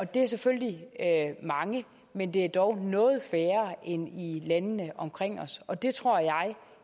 det er selvfølgelig mange men det er dog noget færre end i landene omkring os og det tror jeg